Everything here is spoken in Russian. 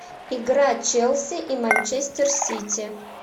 игра челси и манчестер сити